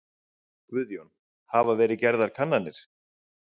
Guðjón: Hafa verið gerðar kannanir?